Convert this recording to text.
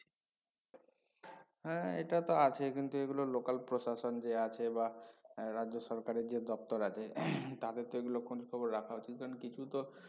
হ্যা এটা তো আছেই কিন্তু এগুলোর local প্রশাসন যে আছে বা এর রাজ্য সরকারের যে দপ্তর আছে তাদের তো এগুলো খোঁজ খবর রাখা উচিত কারন কিছু তো